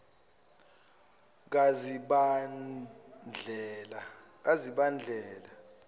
kazibandlela